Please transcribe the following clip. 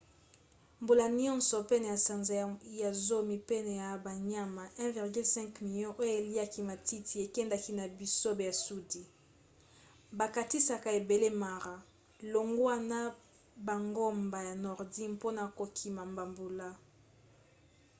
mbula nyonso pene ya sanza ya zomi pene ya banyama 1,5 milio oyo eliaka matiti ekendaka na bisobe ya sudi bakatisaka ebale mara longwa na bangomba ya nordi mpona kokima bambula